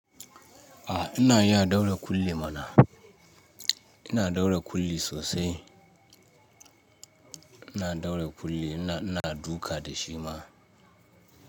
A ina iya daure kulli mana. Ina daure kulli sosai. Ina daure kulli, ina, ina duka da shi ma.